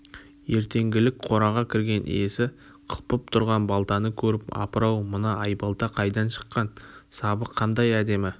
ертеңгілік қораға кірген иесі қылпып тұрған балтаны көріп апыр-ау мына айбалта қайдан шыққан сабы қандай әдемі